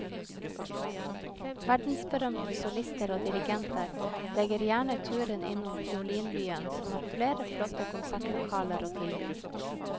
Verdensberømte solister og dirigenter legger gjerne turen innom fiolinbyen som har flere flotte konsertlokaler å tilby.